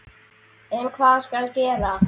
En hvað skal gera?